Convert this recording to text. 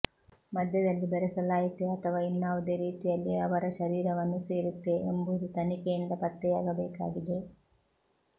ಮದ್ಯದಲ್ಲಿ ಬೆರಸಲಾಯಿತೇ ಅಥವಾ ಇನ್ನಾವುದೇ ರೀತಿಯಲ್ಲಿ ಅವರ ಶರೀರವನ್ನು ಸೇರಿತ್ತೇ ಎಂಬುದು ತನಿಖೆಯಿಂದ ಪತ್ತೆಯಾಗಬೇಕಾಗಿದೆ